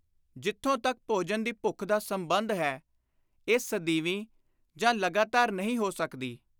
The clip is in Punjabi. ਜਿਥੋਂ ਤਕ ਭੋਜਨ ਦੀ ਭੁੱਖ ਦਾ ਸੰਬੰਧ ਹੈ, ਇਹ ਸਦੀਵੀ ਜਾਂ ਲਗਾਤਾਰੀ ਨਹੀਂ ਹੋ ਸਕਦੀ।